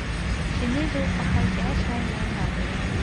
Shinnidu waxay jeceshahay meelaha qoyan.